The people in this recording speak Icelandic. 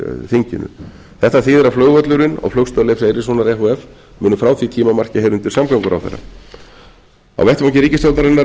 þinginu þetta þýðir að flugvöllurinn og flugstöð leifs eiríkssonar e h f munu frá því tímamarki heyra undir samgönguráðherra á vettvangi ríkisstjórnarinnar er